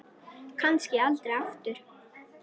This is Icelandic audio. Kannski aldrei aftur.